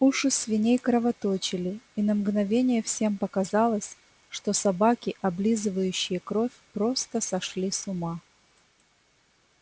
уши свиней кровоточили и на мгновение всем показалось что собаки облизывающие кровь просто сошли с ума